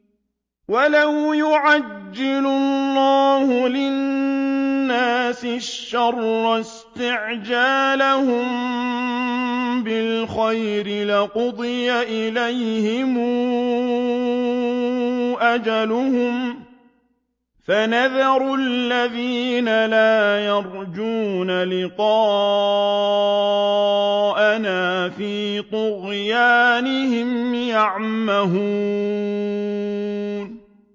۞ وَلَوْ يُعَجِّلُ اللَّهُ لِلنَّاسِ الشَّرَّ اسْتِعْجَالَهُم بِالْخَيْرِ لَقُضِيَ إِلَيْهِمْ أَجَلُهُمْ ۖ فَنَذَرُ الَّذِينَ لَا يَرْجُونَ لِقَاءَنَا فِي طُغْيَانِهِمْ يَعْمَهُونَ